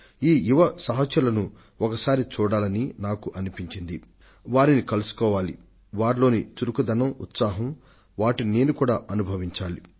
నా యువ మిత్రులను ఒకసారి చూడాలి వారితో మాట్లాడాలి వారిలో ఉన్న శక్తిని ఉత్సుకతని నేరుగా పరికించాలని నాకనిపించి వారిని నా వద్దకు పిలిపించాను